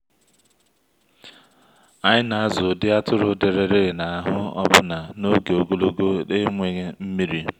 anyị na-azụ ụdị atụrụ dịrịrị n’ahụ́ ọbụna n’oge ogologo enweghị nmiri.